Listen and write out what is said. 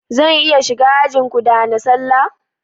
Zan iya shiga ajinku da hana sallah?